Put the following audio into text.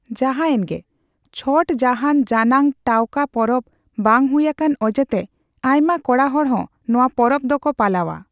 ᱡᱟᱦᱟᱸᱭᱮᱱᱜᱮ, ᱪᱷᱚᱴ ᱡᱟᱦᱟᱸᱱ ᱡᱟᱱᱟᱝ ᱴᱟᱣᱠᱟᱹ ᱯᱚᱨᱚᱵᱽ ᱵᱟᱝ ᱦᱩᱭ ᱟᱠᱟᱱ ᱚᱡᱮᱛᱮ ᱟᱭᱢᱟ ᱠᱚᱲᱟᱦᱚᱲ ᱦᱚᱸ ᱱᱚᱣᱟ ᱯᱚᱨᱚᱵ ᱫᱚᱠᱚ ᱯᱟᱞᱟᱣᱟ ᱾